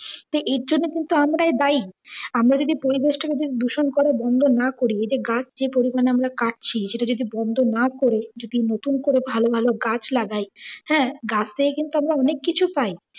এই ের জন্মে কিন্তু আমরাই দায়ী। আমরা যদি পরিবেশ টাকে যদি দূষণ করা বন্ধ না করি, ঐ যে গাছ যে পরিমানে আমরা কাটছি সেটা যদি বন্ধ না করি, যদি নতুন করে ভালো ভালো গাছ লাগাই হ্যাঁ, গাছ থেকে কিন্তু আমরা অনেক কিছু পাই।